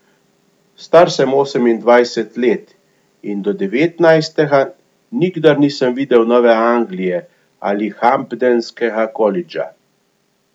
Star sem osemindvajset let in do devetnajstega nikdar nisem videl Nove Anglije ali hampdenskega kolidža.